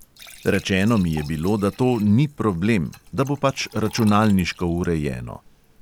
Rečeno mi je bilo, da to "ni problem", da bo pač računalniško urejeno.